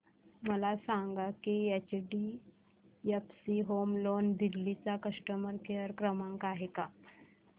मला सांगा की एचडीएफसी होम लोन दिल्ली चा कस्टमर केयर क्रमांक आहे का